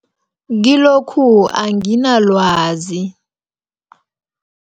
Kilokhu anginalwazi.